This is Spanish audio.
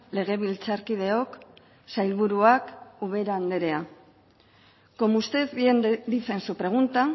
legebiltzarkideok sailburuak ubera anderea como usted bien dice en su pregunta